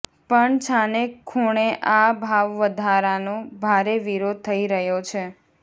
પણ છાનેખુણે આ ભાવવધારાનો ભારે વિરોધ થઇ રહ્યો છે